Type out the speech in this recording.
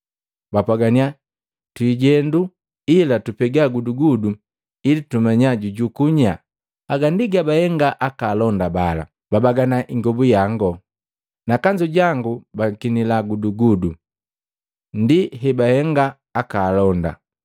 Bapwagannya, “Twijendu ila tupega gudugudu ili tumanya jujukuu nyaa.” Haga ndi gabahenga aka alonda bala. “Babagana ingobu yangu, na kanzu jangu bakinila gudugudu.” Ndi hebahenga aka alonda.